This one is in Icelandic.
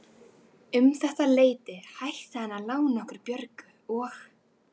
Um þetta leyti hætti hann að lána okkur Björgu og